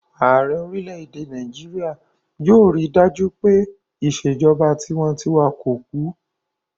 Ààrẹ orílẹ̀-èdè Nàìjíríyà yóò rí dájú pé ìṣèjọba tinwatinwa kò kú